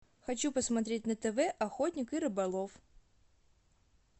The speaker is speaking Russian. хочу посмотреть на тв охотник и рыболов